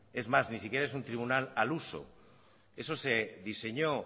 es más ni siquiera es un tribunal al uso eso se diseñó